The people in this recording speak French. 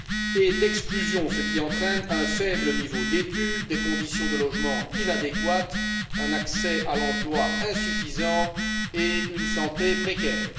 et d'exclusion, ce qui entraîne un faible niveau d'études, des conditions de logement inadéquates, un accès à l'emploi insuffisant et une santé précaire.